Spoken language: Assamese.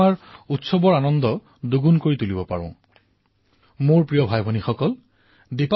কোনোবাই স্বচ্ছতা আৰু স্বাস্থ্যক লৈ সজাগতা প্ৰয়াসৰ কাম কৰি আছে আৰু কোনোবাই চিকিৎসক অভিযন্তা হৈ সমাজৰ সেৱা কৰি আছে